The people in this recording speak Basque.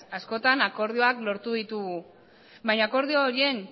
askotan akordioak lortu ditugu baina akordio horien